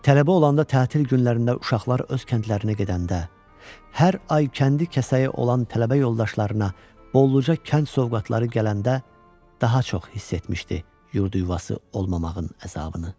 Tələbə olanda tətil günlərində uşaqlar öz kəndlərinə gedəndə, hər ay kəndi kəsəyi olan tələbə yoldaşlarına, bolluca kənd sovqatları gələndə daha çox hiss etmişdi yurdu-yuvası olmamağın əzabını.